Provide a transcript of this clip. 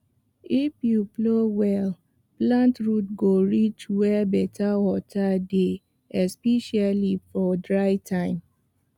if you plow well plant root go reach where better water dey especially for dry time